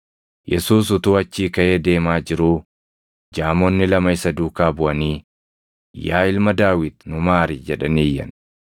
Yesuus utuu achii kaʼee deemaa jiruu, jaamonni lama isa duukaa buʼanii, “Yaa Ilma Daawit nu maari!” jedhanii iyyan.